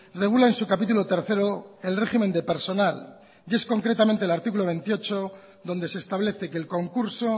regula en su capítulo tercero el régimen de personal y es concretamente el artículo veintiocho donde se establece que el concurso